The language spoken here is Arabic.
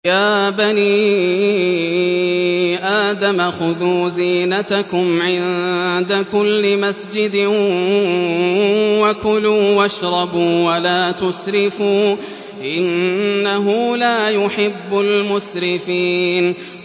۞ يَا بَنِي آدَمَ خُذُوا زِينَتَكُمْ عِندَ كُلِّ مَسْجِدٍ وَكُلُوا وَاشْرَبُوا وَلَا تُسْرِفُوا ۚ إِنَّهُ لَا يُحِبُّ الْمُسْرِفِينَ